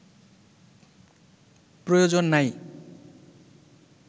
প্রয়োজন নাই